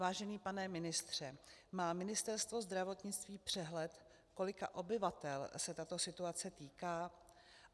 Vážený pane ministře, má Ministerstvo zdravotnictví přehled, kolika obyvatel se tato situace týká?